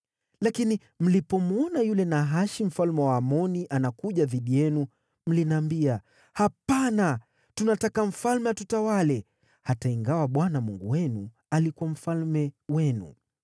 “Lakini mlipomwona yule Nahashi mfalme wa Waamoni anakuja dhidi yenu, mliniambia, ‘Hapana, tunataka mfalme atutawale,’ hata ingawa Bwana Mungu wenu alikuwa mfalme wenu.